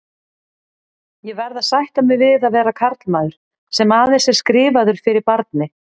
Ég verð að sætta mig við að vera karlmaður, sem aðeins er skrifaður fyrir barni.